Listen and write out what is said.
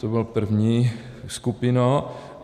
To byla první skupina.